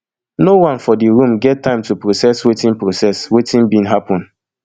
no one for di room get time to process wetin process wetin bin happun